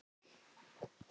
Ari og Björn!